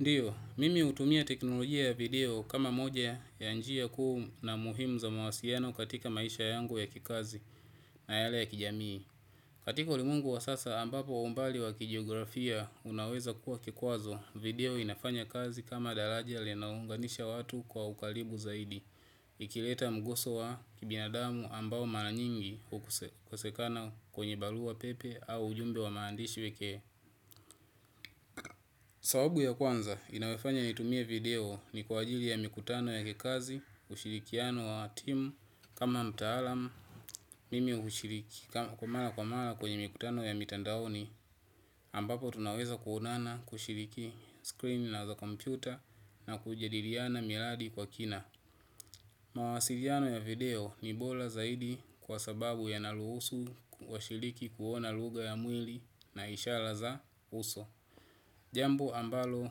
Ndiyo, mimi utumia teknolojia ya video kama moja ya njia kuu na muhimu za mawasiano katika maisha yangu ya kikazi na yale ya kijamii. Katika ulimwengu wa sasa ambapo umbali wa kijiografia unaweza kuwa kikwazo, video inafanya kazi kama dalaja linaunganisha watu kwa ukalibu zaidi. Ikileta mguso wa kibinadamu ambao maranyingi ukosekana kwenye barua pepe au ujumbe wa maandishi weke. Sawabu ya kwanza inawefanya nitumie video ni kwa ajili ya mikutano ya kikazi ushirikiano wa timu kama mtaalam mimi hushiriki kwa maa kwa mara kwenye mikutano ya mitandaoni ambapo tunaweza kuonana kushiriki screen na za kompyuta na kujadiriana miradi kwa kina. Mawasiliano ya video ni bola zaidi kwa sababu yanaruhusu washiriki kuona luga ya mwili na ishala za uso. Jambo ambalo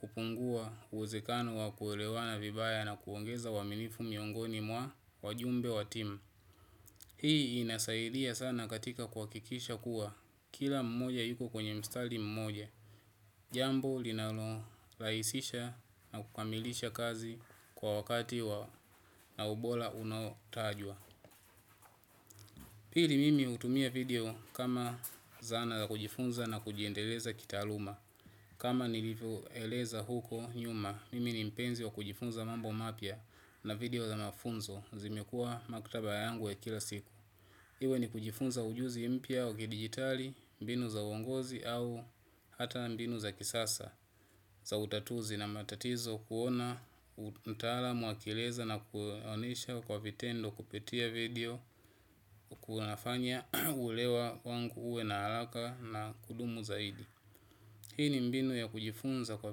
hupungua uwezekano wa kuelewana vibaya na kuongeza uaminifu miongoni mwa wajumbe wa timu. Hii inasaidia sana katika kuakikisha kuwa kila mmoja yuko kwenye mstali mmoja. Jambo linalo laisisha na kukamilisha kazi kwa wakati na ubola unaotajwa. Pili mimi utumia video kama zana za kujifunza na kujiendeleza kitaaluma. Kama nilivyoeleza huko nyuma, mimi ni mpenzi wa kujifunza mambo mapya na video za mafunzo zimekua maktaba yangu ya kila siku. Iwe ni kujifunza ujuzi mpya wa kidigitali, mbinu za uongozi au hata mbinu za kisasa za utatuzi na matatizo kuona mtaalam akieleza na kuonesha kwa vitendo kupitia video kunafanya uelewa wangu uwe na alaka na kudumu zaidi. Hii ni mbinu ya kujifunza kwa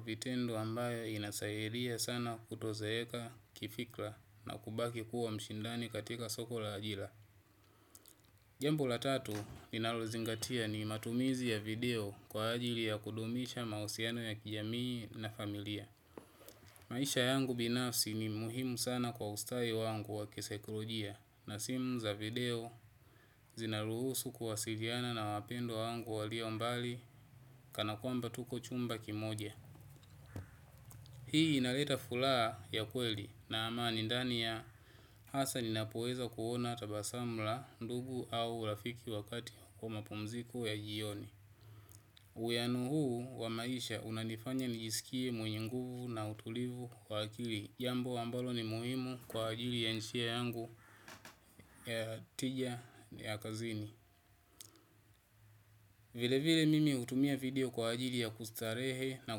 vitendo ambayo inasairia sana kutozeeka kifikla na kubaki kuwa mshindani katika soko la ajila. Jambo la tatu linalozingatia ni matumizi ya video kwa ajili ya kudumisha mausiano ya kijamii na familia. Maisha yangu binafsi ni muhimu sana kwa ustai wangu wa kisaikorojia na simu za video zinaruhusu kuwasiliana na wapendwa wangu walio mbali kana kwamba tuko chumba kimoja. Hii inaleta fulaa ya kweli na amani ndani ya hasa ninapoweza kuona tabasam la ndugu au rafiki wakati kwa mapumziko ya jioni. Uiyanu huu wa maisha unanifanya nijisikie mwenye nguvu na utulivu kwa akili. Jambo ambalo ni muhimu kwa ajili ya nshia yangu ya tija ya kazini. Vile vile mimi hutumia video kwa ajili ya kustarehe na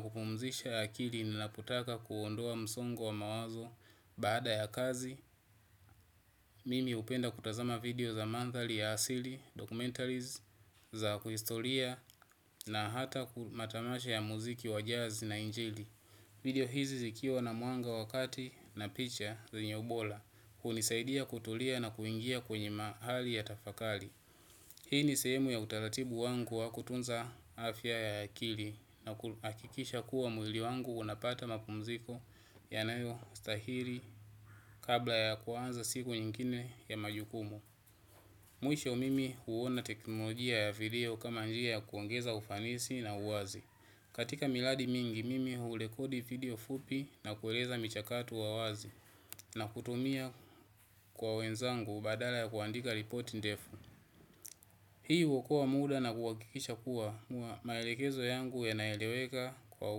kupumzisha akili ninapotaka kuondoa msongo wa mawazo baada ya kazi mimi hupenda kutazama video za manthali ya asili, documentaries, za kuistolia na hata matamasha ya muziki wa jazz na injili. Video hizi zikiwa na mwanga wa kati na picha zenye ubola hunisaidia kutulia na kuingia kwenye mahali ya tafakali. Hii ni sehemu ya utalatibu wangu wa kutunza afya ya akili na kuakikisha kuwa mwili wangu unapata mapumziko yanayo stahili kabla ya kuanza siku nyingine ya majukumu. Mwisho mimi huona teknolojia ya video kama njia ya kuongeza ufanisi na uwazi. Katika miradi mingi mimi hurekodi video fupi ya kueleza michakato ya uwazi na kutumia kwa wenzangu badala ya kuandika ripoti ndefu hii huokoa muda na kuakikisha kuwa maelekezo yangu yanaeleweka kwa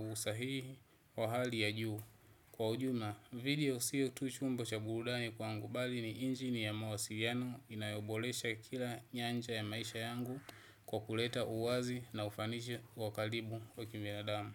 usahihi wa hali ya juu. Kwa ujumla, video siyo tu chombo cha burudani kwangu bali ni injini ya mawasiliano inayobolesha kila nyanja ya maisha yangu kwa kuleta uwazi na ufanishi wakalibu wa kibinadamu.